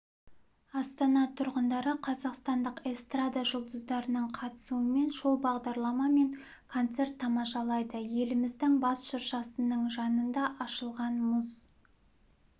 астана тұрғындары қазақстандық эстрада жұлдыздарының қатысуымен шоу-бағдарлама мен концерт тамашалайды еліміздің бас шыршасының жанында ашылған мұз